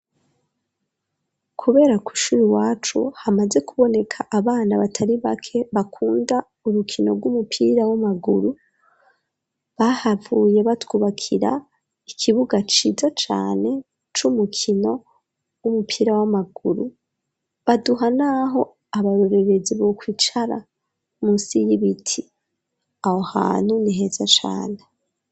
Kubera kw'ishuri wacu hamaze kuboneka abana batari bake bakunda urukino rw'umupira w'amaguru bahavuye batwubakira ikibuga ciza cane c'umukino w'umupira w'amaguru baduha n'aho abarorerezi bo kwicara munsi y'ibiti aho hantu ni heza cane.